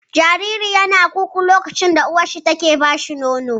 Jaririn yana ku-ku lokaci da uwarsa take ba shi nono